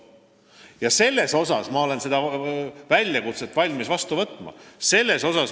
Ma olen valmis seda väljakutset vastu võtma.